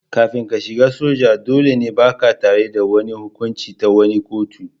Kafin ka shiga soja, dolle ba'ka tare da wani hukunci ta wani kotu.